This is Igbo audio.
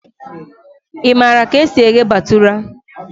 Ị maara ka esi eghe bhatura?